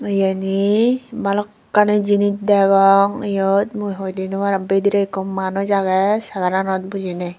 eyen he balokkani jinich degong eyod mui hoi di no aarong bidire ikko manuj aage cegara nod bujine.